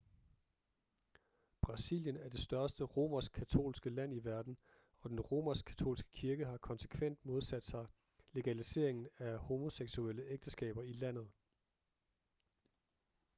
brasilien er det største romersk-katolske land i verden og den romersk-katolske kirke har konsekvent modsat sig legaliseringen af homoseksuelle ægteskaber i landet